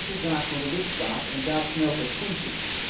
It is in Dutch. Dat is de zaak van de lidstaat en daar knelt het schoentje.